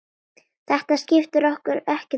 Þetta skiptir okkur ekkert máli.